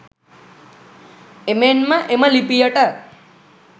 එමෙන්ම එම ලිපියට